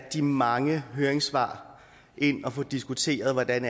de mange høringssvar ind og få diskuteret hvordan